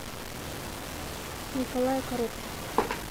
николая коротких